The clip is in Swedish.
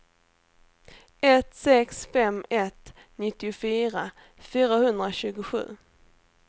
ett sex fem ett nittiofyra fyrahundratjugosju